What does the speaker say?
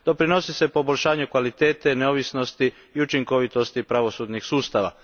Doprinosi se poboljšanju kvalitete neovisnosti i učinkovitosti pravosudnih sustava.